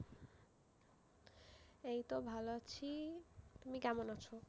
এই তো ভালো আছি, তুমি কেমন আছো?